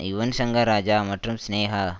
யுவன்சங்கர் ராஜா மற்றும் சினேகா